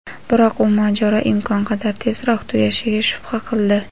biroq u mojaro imkon qadar tezroq tugashiga shubha qildi.